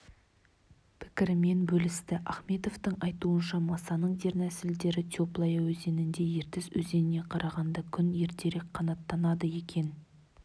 пікірімен бөлісті ахметовтың айтуынша масаның дернәсілдері теплая өзенінде ертіс өзеніне қарағанда күн ертерек қанаттанады екен